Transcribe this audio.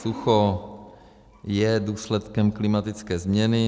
Sucho je důsledkem klimatické změny.